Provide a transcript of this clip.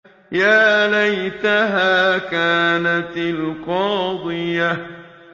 يَا لَيْتَهَا كَانَتِ الْقَاضِيَةَ